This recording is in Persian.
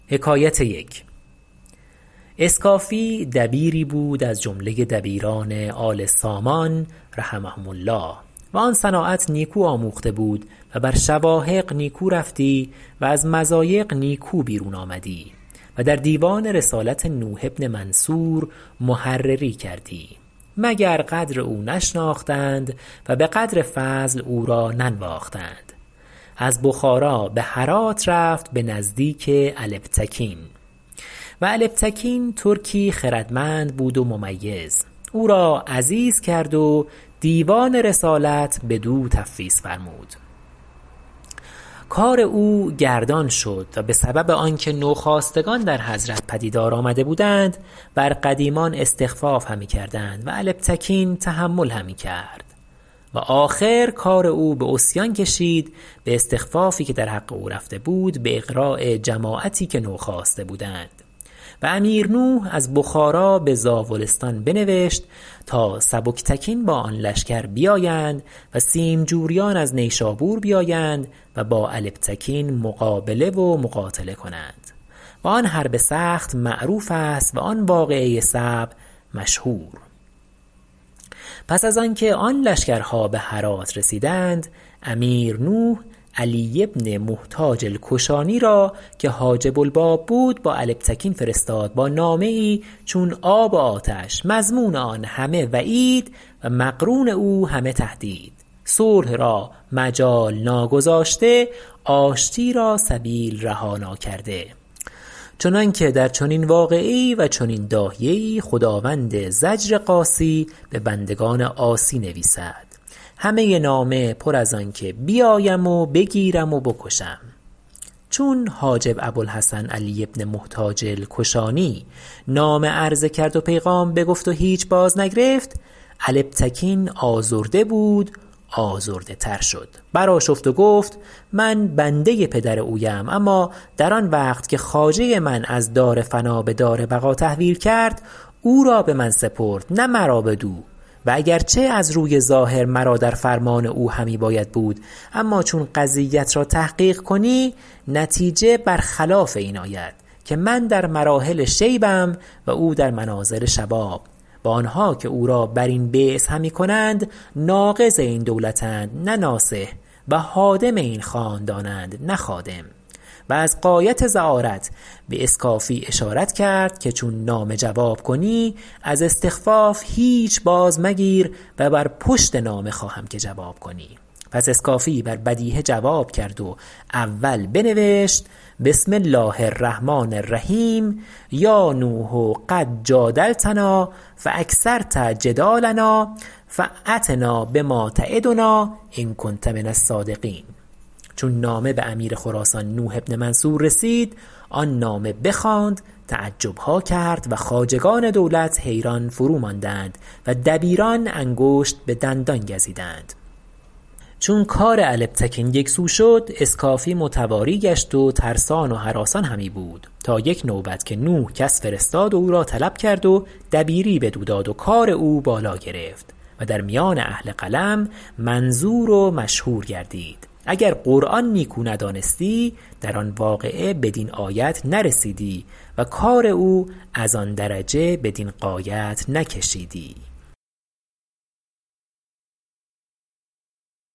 اسکافی دبیری بود از جمله دبیران آل سامان رحمهم الله و آن صناعت نیکو آموخته بود و بر شواهق نیکو رفتی و از مضایق نیکو بیرون آمدی و در دیوان رسالت نوح بن منصور محرری کردی مگر قدر او نشناختند و بقدر فضل او را ننواختند از بخارا بهرات رفت بنزدیک البتکین و البتکین ترکی خردمند بود و ممیز او را عزیز کرد و دیوان رسالت بدو تفویض فرمود و کار او گردان شد و بسبب آنکه نو خاستگان در حضرت پدیدار آمده بودند بر قدیمان استخفاف همی کردند و البتکین تحمل همی کرد و آخر کار او بعصیان کشید باستخفافی که در حق او رفته بود باغراء جماعتی که نوخاسته بودند و امیر نوح از بخارا بزاولستان بنوشت تا سبکتکین با آن لشکر بیایند و سیمجوریان از نشابور بیایند و با البتکین مقابله و مقاتله کنند و آن حرب سخت معروفست و آن واقعه صعب مشهور پس از آنکه آن لشکر ها بهرات رسیدند امیرنوح علی بن محتاج الکشانی را که حاجب الباب بود با البتکین فرستاد با نامه چون آب و آتش مضمون او همه وعید و مقرون او همه تهدید صلح را مجال نا گذاشته و آشتی را سبیل رها نا کرده چنانکه در چنین واقعه و در چنین داهیه خداوند ضجر قاصی ببندگان عاصی نویسد همه نامه پر از آنکه بیایم و بگیرم و بکشم چون حاجب ابوالحسن علی بن محتاج الکشانی نامه عرضه کرد و پیغام بگفت و هیچ باز نگرفت البتکین آزرده بود آزرده تر شد برآشفت و گفت من بنده پدر اویم اما در آنوقت که خواجه من از دار فنا بدار بقا تحویل کرد او را بمن سپرد نه مرا بدو و اگر چه از روی ظاهر مرا در فرمان او همی باید بود اما چون این قضیت را تحقیق کنی نتیجه بر خلاف این آید که من در مراحل شیبم و او در منازل شباب و آنها که او را برین بعث همی کنند ناقض این دولت اند نه ناصح و هادم این خاندانند نه خادم و از غایت زعارت باسکافی اشاره کرد که چون نامه جواب کنی از استخفاف هیچ باز مگیر و بر پشت نامه خواهم که جواب کنی پس اسکافی بر بدیهه جواب کرد و اول بنوشت بسم الله الرحمن الرحیم یا نوح قد جادلتنا فاکثرت جدالنا فایتنا بما تعدنا ان کنت من الصادقین چون نامه بامیر خراسان نوح بن منصور رسید آن نامه بخواند تعجبها کرد و خواجگان دولت حیران فرو ماندند و دبیران انگشت بدندان گزیدند چون کار البتکین یکسو شد اسکافی متواری گشت و ترسان و هراسان همی بود تا یک نوبت که نوح کس فرستاد و او را طلب کرد و دبیری بدو داد و کار او بالا گرفت و در میان اهل قلم منظور و مشهور گشت اگر قرآن نیکو ندانستی در آن واقعه بدین آیت نرسیدی و کار او از آن درجه بدین غایت نکشیدی